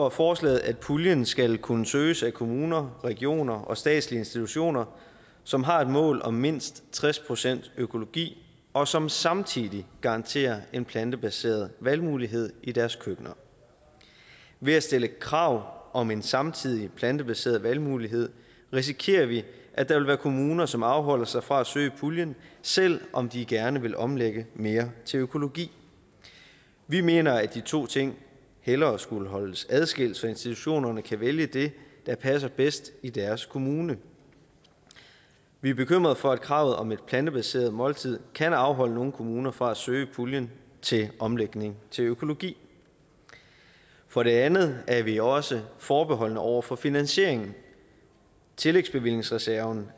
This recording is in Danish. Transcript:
af forslaget at puljen skal kunne søges af kommuner regioner og statslige institutioner som har et mål om mindst tres procent økologi og som samtidig garanterer en plantebaseret valgmulighed i deres køkkener ved at stille krav om en samtidig plantebaseret valgmulighed risikerer vi at der vil være kommuner som afholder sig fra at søge puljen selv om de gerne vil omlægge mere til økologi vi mener at de to ting hellere skulle holdes adskilt så institutionerne kan vælge det der passer bedst i deres kommune vi er bekymret for at kravet om et plantebaseret måltid kan afholde nogle kommuner fra at søge puljen til omlægning til økologi for det andet er vi også forbeholdne over for finansieringen tillægsbevillingsreserven